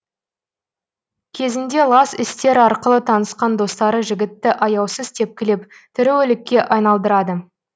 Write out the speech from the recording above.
кезінде лас істер арқылы танысқан достары жігітті аяусыз тепкілеп тірі өлікке айналдырады